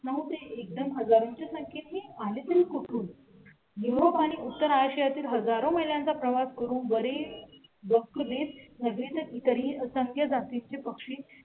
नऊ ते एकदम हजारांच्या संख्येत आणि तुम्ही कुठून ही उत्तर आशिया तील हजारो मैलांचा प्रवास करून बरी नगरीत तरी संगीत जाती चे पक्षी